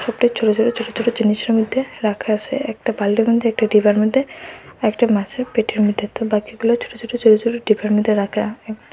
ছোটো ছোটো ছোটো ছোটো জিনিসের মধ্যে রাখা আসে একটা বালটির মধ্যে একটা ডিবার মধ্যে একটা মাছের পেটের মধ্যে তো বাকিগুলো ছোটো ছোটো ছোটো ছোটো ডিবার মধ্যে রাখা একটা--